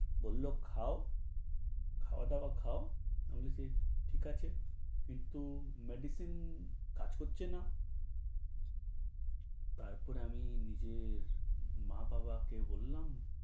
বললো খাও, খাওয়া-দাওয়া খাও। আমি বলছি ঠিক আছে, কিন্তু medicine কাজ করছে না। তারপর আমি নিজের মা-বাবাকে বললাম